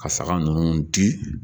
Ka saga ninnu di